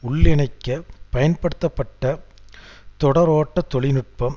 உள்ளிணைக்க பயன்படுத்தப்பட்ட தொடரோட்ட தொழில்நுட்பம்